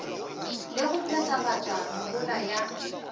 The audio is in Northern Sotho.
le go phethagatša mehola ya